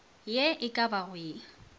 ye e ka bago ye